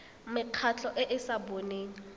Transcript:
mekgatlho e e sa boneng